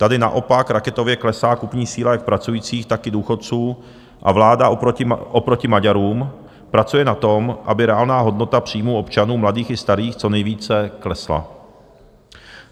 Tady naopak raketově klesá kupní síla jak pracujících, tak i důchodců a vláda oproti Maďarům pracuje na tom, aby reálná hodnota příjmů občanů, mladých i starých, co nejvíce klesla.